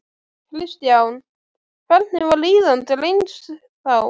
Kristján: Hvernig var líðan drengs þá?